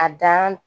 A dan